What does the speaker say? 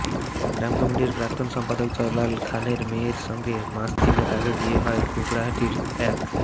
গ্রাম কমিটির প্রাক্তন সম্পাদক জালাল খানের মেয়ের সঙ্গে মাস তিনেক আগে বিয়ে হয় কুকড়াহাটির এক